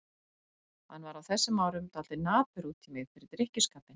Hann var á þessum árum dálítið napur út í mig fyrir drykkjuskapinn.